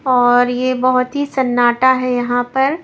और ये बहुत ही सन्नाटा है यहां पर।